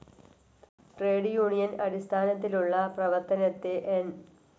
Trade union അടിസ്ഥാനത്തിലുള്ള പ്രവർത്തനത്തെ N.